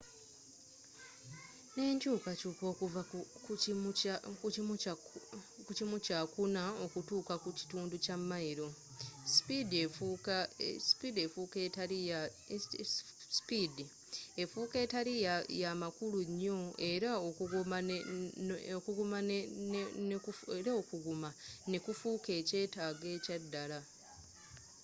n'enkyukakyuka okuva mu kimu kya kuna okutuuka ku kitundu kya mayiro sipiidi efuuka etali ya makulu nnyo era okuguma ne kufuuka ekyetaago ekya ddala